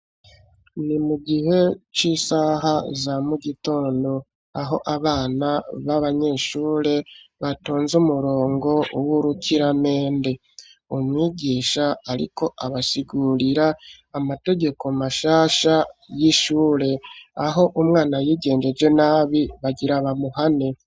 Ni mu gihe c'isaha za mu gitondo aho abana b'abanyeshure batonze umurongo w'urukiramende. Umwigisha ariko abasigurira amategeko mashasha y'ishure, aho umwana yigengeje nabi bagira bamuhane.